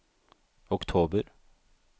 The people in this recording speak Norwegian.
oktober